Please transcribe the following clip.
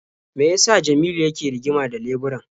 Me ya sa Jamilu yake rigima da leburan?